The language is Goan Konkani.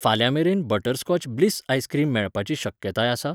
फाल्यां मेरेन बटरस्कॉच ब्लिस आइसक्रीम मेळपाची शक्यताय आसा ?